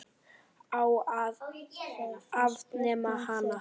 Á að afnema hana?